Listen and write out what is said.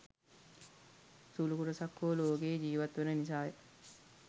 සුළු කොටසක් හෝ ලෝකයේ ඡීවත් වන නිසාය.